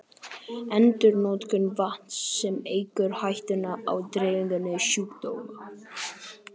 Endurnotkun vatns, sem eykur hættuna á dreifingu sjúkdóma.